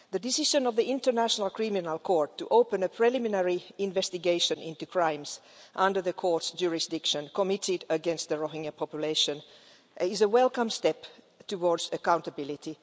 The decision of the International Criminal Court to open a preliminary investigation into crimes, under the court's jurisdiction, committed against the Rohingya population is a welcome step towards accountability.